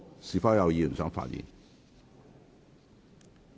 是否有議員想發言？